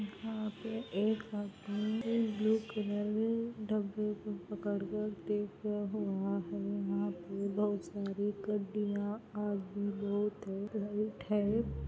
यहाँ एक एक ब्लू कलर के डब्बे को पकड़ कर देख रहे है आदमी बहुत है। --